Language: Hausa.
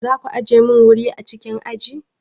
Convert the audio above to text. Za ku ajiye mani wuri a cikin aji?